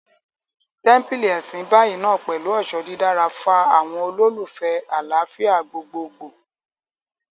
Tẹ́ḿpílì Ẹ̀sìn Báì náà pẹ̀lú ọ̀ṣọ́ dídára, fa àwọn olùfẹ́ẹ àlàáfíà gbogboogbò